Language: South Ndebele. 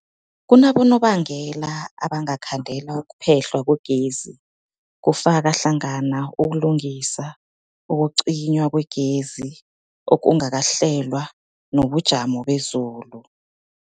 Kunabonobangela abangakhandela ukuphehlwa kwegezi, kufaka hlangana ukulungisa, ukucinywa kwegezi okungakahlelwa, nobujamo bezulu.